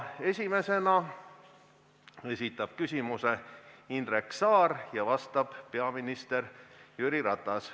Esimesena esitab küsimuse Indrek Saar ja sellele vastab peaminister Jüri Ratas.